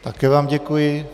Také vám děkuji.